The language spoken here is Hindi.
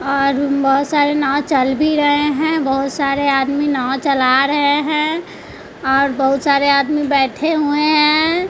और बहुत सारे नाव चल भी रहे हैं बहोत सारे आदमी नाव चला रहे हैं और बहुत सारे आदमी बैठे हुए हैं।